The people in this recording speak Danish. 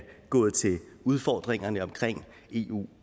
gået til udfordringerne om eu